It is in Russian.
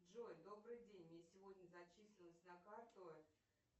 джой добрый день мне сегодня зачислилось на карту